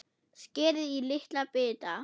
Skerið í litla bita.